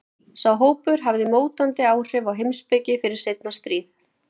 Sá hópur hafði mótandi áhrif á heimspeki fyrir seinna stríð.